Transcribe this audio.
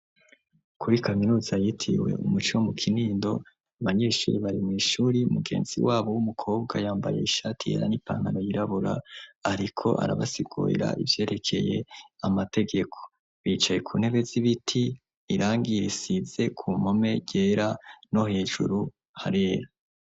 Kuri kaminuza yitiwe umuco mu kinindo abanyishuri bari mw'ishuri mugenzi wabo w'umukobwa yambaye ishati yera n'i pankano yirabora, ariko arabasigoera ivyerekeye amategeko bicaye ku ntebe z'ibiti irangire isize ku mpome ryera no hejuru harera.